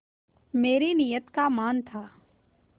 मेरी नीयत का मान था